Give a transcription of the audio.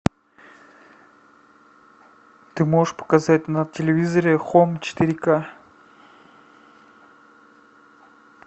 ты можешь показать на телевизоре хоум четыре ка